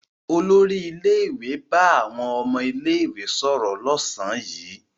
Olórí ilé-ìwé bá àwọn ọmọ ilé-ìwé sọ̀rọ̀ lọ́sàn-án yìí.